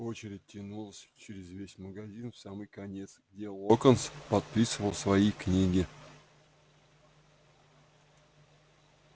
очередь тянулась через весь магазин в самый конец где локонс подписывал свои книги